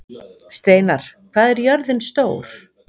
Steinar, hvað er jörðin stór?